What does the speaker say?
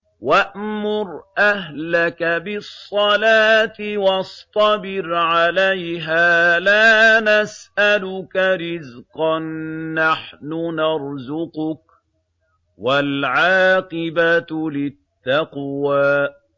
وَأْمُرْ أَهْلَكَ بِالصَّلَاةِ وَاصْطَبِرْ عَلَيْهَا ۖ لَا نَسْأَلُكَ رِزْقًا ۖ نَّحْنُ نَرْزُقُكَ ۗ وَالْعَاقِبَةُ لِلتَّقْوَىٰ